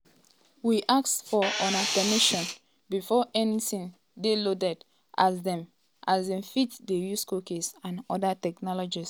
we ask for una permission before anytin dey loaded as dem as dem fit dey use cookies and oda technologies.